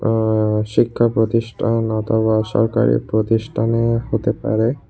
আ শিক্ষা প্রতিষ্ঠান অথবা সরকারি প্রতিষ্ঠানের হতে পারে।